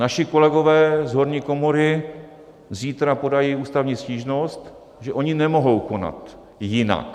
Naši kolegové z horní komory zítra podají ústavní stížnost, že oni nemohou konat jinak.